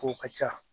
Ko ka ca